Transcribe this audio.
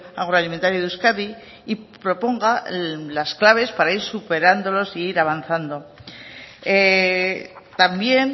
agroalimentario de euskadi y proponga las claves para ir superándolos e ir avanzando también